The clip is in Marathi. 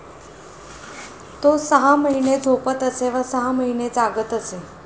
तो सहा महिने झोपत असे व सहा महिने जागत असे.